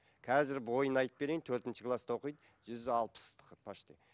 қазір бойын айтып берейін төртінші класта оқиды жүз алпыс почти